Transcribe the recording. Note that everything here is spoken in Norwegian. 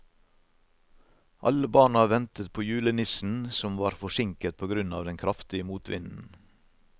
Alle barna ventet på julenissen, som var forsinket på grunn av den kraftige motvinden.